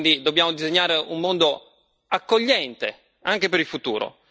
Quindi dobbiamo disegnare un mondo accogliente, anche per il futuro.